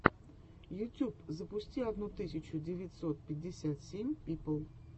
ютюб запусти одну тысячу девятьсот пятьдесят семь пипл